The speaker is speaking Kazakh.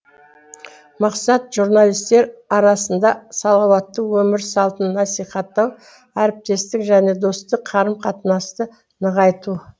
мақсат журналистер арасында салауатты өмір салтын насихаттау әріптестік және достық қарым қатынасты нығайту